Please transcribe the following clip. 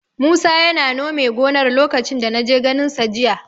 Musa yana nome gonar lokacin da na je ganinsa jiya.